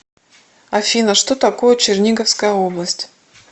афина что такое черниговская область